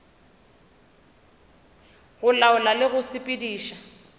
go laola le go sepediša